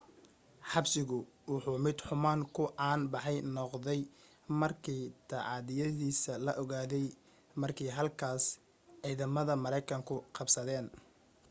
xabsigu wuxuu mid xumaan ku caan baxay noqday markii tacadiyadiisii la ogaaday markii halkaas ciidamada maraykanku qabsadeen